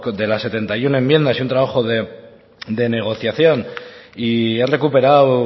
de las setenta y uno enmiendas y un trabajo de negociación y he recuperado